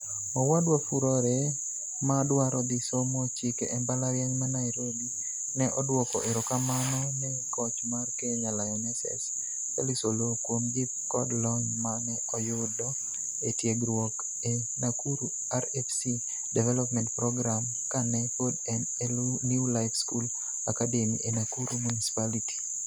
Owadwa Furore, ma dwaro dhi somo chike e mbalarieny ma Nairobi, ne odwoko erokamano ne koch mar Kenya Lionesses, Felix Oloo, kuom jip kod lony ma ne oyudo e tiegruok e Nakuru RFC Development Program kane pod en e New Life School Academy e Nakuru Municipality.